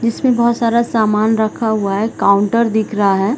इसमें बहोत सारा सामान रखा हुआ है काउंटर दिख रहा हैं ।